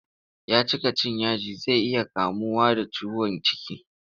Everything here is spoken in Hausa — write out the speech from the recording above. Ya cika cin yaji zai iya kamuwa da ciwon ciki.